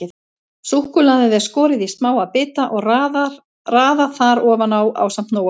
Súkkulaðið er skorið í smáa bita og raðað þar ofan á ásamt Nóa-kroppinu.